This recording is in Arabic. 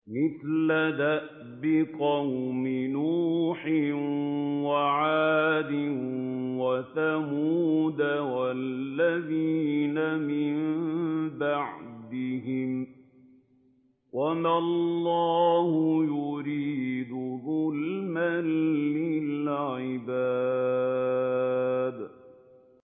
مِثْلَ دَأْبِ قَوْمِ نُوحٍ وَعَادٍ وَثَمُودَ وَالَّذِينَ مِن بَعْدِهِمْ ۚ وَمَا اللَّهُ يُرِيدُ ظُلْمًا لِّلْعِبَادِ